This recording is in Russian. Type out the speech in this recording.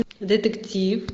детектив